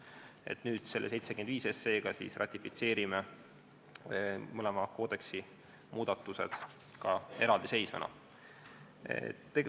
Eelnõuga 75 ratifitseerime me mõlema koodeksi muudatused ka eraldiseisvana.